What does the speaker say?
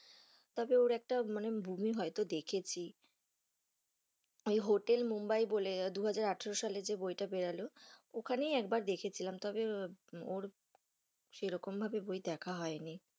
তবে ওর একটা মনে movie হয়তো দেখেছি ওই হোটেল মুম্বাই বলে দু-হাজার আঠেরো সালে যে বইটা বেরোলো ওখানে একবার দেখে ছিলাম তবে ওর সেই রকম ভাবে বই দেখা হয় নি।